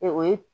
o ye